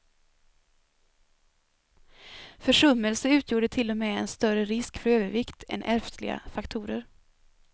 Försummelse utgjorde till och med en större risk för övervikt än ärftliga faktorer.